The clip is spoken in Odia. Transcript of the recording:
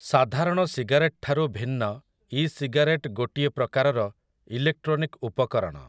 ସାଧାରଣ ସିଗାରେଟଠାରୁ ଭିନ୍ନ ଇ ସିଗାରେଟ୍ ଗୋଟିଏ ପ୍ରକାରର ଇଲେକ୍ଟ୍ରୋନିକ ଉପକରଣ ।